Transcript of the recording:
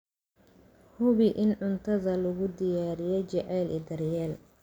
Hubi in cuntada lagu diyaariyey jacayl iyo daryeel.